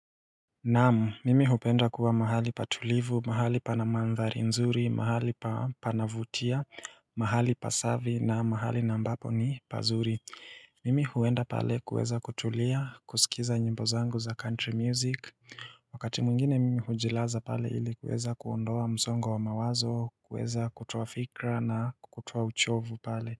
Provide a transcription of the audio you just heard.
Naam, mimi hupenda kuwa mahali patulivu, mahali pana mandhari nzuri, mahali panavutia, mahali pasafi na mahali ambapo ni pazuri Mimi huenda pale kuweza kutulia, kusikiza nyimbo zangu za country music Wakati mwingine mimi hujilaza pale ili kuweza kuondoa msongo wa mawazo, kuweza kutoa fikra na kutoa uchovu pale.